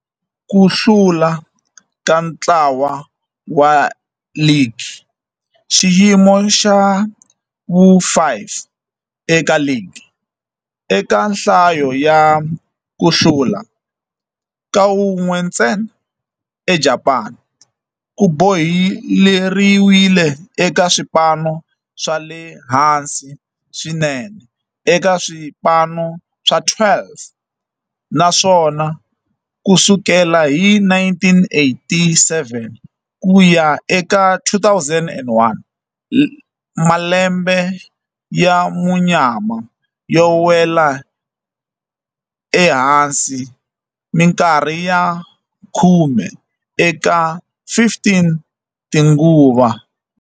Ku hlula ka ntlawa wa ligi, xiyimo xa vu-5 eka ligi eka nhlayo ya ku hlula, kan'we ntsena eJapani, ku boheleriwile eka swipano swa le hansi swinene eka swipano swa 12, naswona ku sukela hi 1987 ku ya eka 2001, malembe ya munyama yo nwela ehansi minkarhi ya khume eka 15 tinguva.